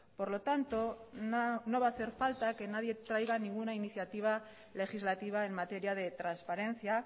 por lo tanto no va a hacer falta que nadie traiga ninguna iniciativa legislativa en materia de transparencia